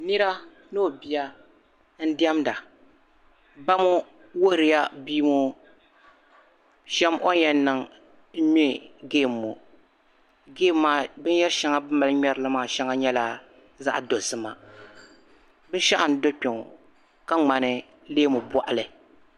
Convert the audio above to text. Nira ni o bia n-dimda. Ba ŋɔ wuhirila bia ŋɔ o ni yɛn shɛm n-nyɛ geemi ŋɔ. Geemi maa binyɛr' shɛŋa bɛ ni mali ŋmɛri li maa nyɛla zaɣ' dozima. Binshɛɣu n-do kpɛŋɔ ka ŋmani leemu bɔɣili.